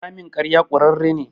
Ramin ƙarya ƙurarre ne.